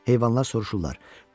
Heyvanlar soruşurlar.